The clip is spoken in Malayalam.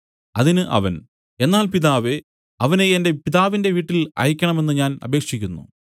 അതിന് അവൻ എന്നാൽ പിതാവേ അവനെ എന്റെ പിതാവിന്റെ വീട്ടിൽ അയയ്ക്കണമെന്ന് ഞാൻ അപേക്ഷിക്കുന്നു